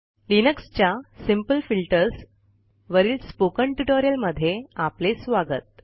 लिनक्सच्या simple filters वरील spoken ट्युटोरियलमध्ये आपले स्वागत